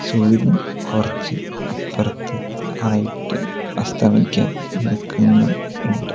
സൂര്യൻ കുറച്ച് അപ്പുറത്ത് ആയിട്ട് അസ്തമിക്കാൻ നിക്കുന്നു ണ്ട്.